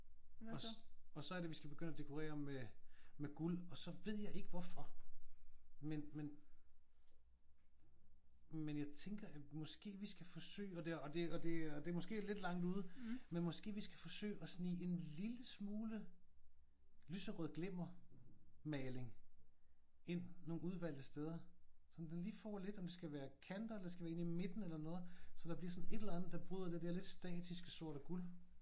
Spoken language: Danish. Og så er det vi skal begynde at dekorere med med guld og så ved jeg ikke hvorfor men men men jeg tænker at måske vi skal forsøge og det og det og det er måske lidt langt ude men måske vi skal forsøge at snige en lille smule lyserød glimmermaling ind nogle udvalgte steder sådan at det lige får lidt. Om det skal være kanter eller det skal være inde i midten eller noget. Sådan at der bliver sådan et eller andet der bryder det der lidt statiske sort og guld